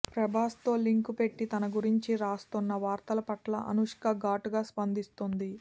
ప్రభాస్తో link పెట్టి తన గురించి రాస్తోన్న వార్తల పట్ల అనుష్క ఘాటుగా స్పందిస్తోంది